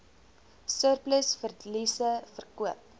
surplus verliese verkoop